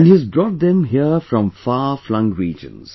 And he has brought them here from far flung regions